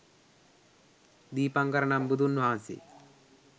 දීපංකර නම් බුදුන් වහන්සේ